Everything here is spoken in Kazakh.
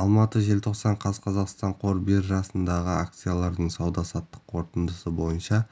алматы желтоқсан қаз қазақстан қор биржасындағы акциялардың сауда-саттық қорытындысы бойынша